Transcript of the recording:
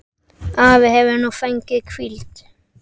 Afi hefur nú fengið hvíld.